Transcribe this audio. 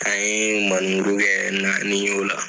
An ye maneburu kɛ naani ye o la.